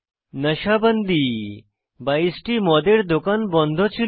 নাশা বান্দি 22 টি মদের দোকান বন্ধ ছিল